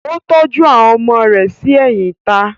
Ó tọ́jú àwọn ọmọ rẹ̀ sí ẹ̀yìn ìta.